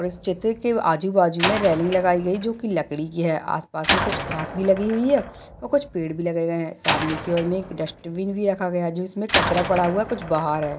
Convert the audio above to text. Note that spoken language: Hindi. इस चित्र के आजू बाजू मे रैलिंग लगाए गई जो की लकड़ी की है आस पास मे कुछ घास भी लगी हुए है और कुछ पेड़ भी लगे है सामने के और मे एक डस्ट्बिन भी रखा गया जो इसमे कचरा पड़ा हुआ है कुछ बाहर है।